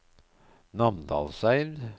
Namdalseid